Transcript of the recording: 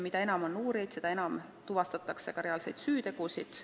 Mida enam on uurijaid, seda enam tuvastatakse reaalseid süütegusid.